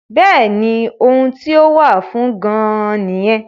Bẹ́ẹ̀ni ohun tí ó wà fún gan-an nìyẹn